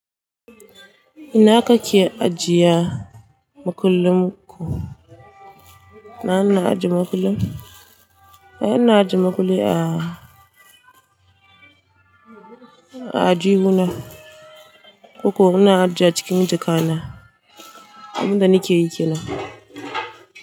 Ina kake ajiye makullin ku? Na na aje makulli, ai ina aje makulli? A, aljihuna. Koko ina ajiye cikin jaka na. Abin da nike yi kenan.